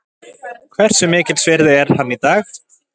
Hversu mikils virði er hann í dag?